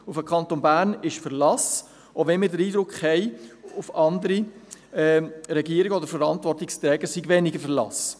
Auf den Kanton Bern ist Verlass, auch wenn wir den Eindruck haben, auf andere Regierungen oder Verantwortungsträger sei weniger Verlass.